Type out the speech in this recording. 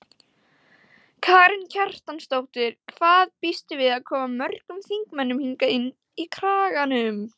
Karen Kjartansdóttir: Hvað býstu við að koma mörgum þingmönnum hingað inn í Kraganum?